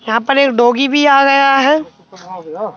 यहां पर एक डोगी भी आ गया है।